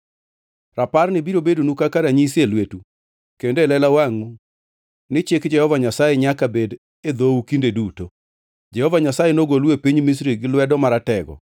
Raparni biro bedonu kaka ranyisi e lwetu kendo e lela wangʼu ni chik Jehova Nyasaye nyaka bed e dhou kinde duto, Jehova Nyasaye nogolou e piny Misri gi lwete maratego.